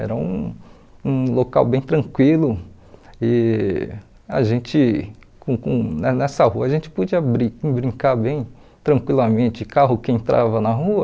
Era um um local bem tranquilo e a gente com com ne nessa rua a gente podia bri brincar bem tranquilamente, carro que entrava na rua.